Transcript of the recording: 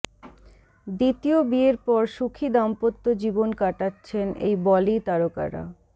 দ্বিতীয় বিয়ের পর সুখী দাম্পত্য জীবন কাটাচ্ছেন এই বলি তারকারা